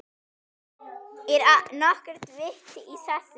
Er nokkurt vit í þessu?